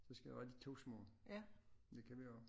Det skal være de to små det kan vi også